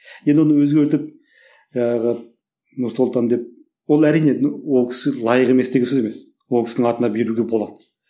енді оны өзгертіп жаңағы нұр сұлтан деп ол әрине ол кісі лайық емес деген сөз емес ол кісінің атына беруге болады